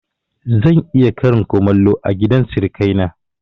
Zan yi karin kumallo a gidan surukai na